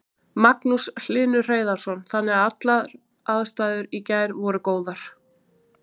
Magnús Hlynur Hreiðarsson: Þannig að allar aðstæður í gær voru góðar?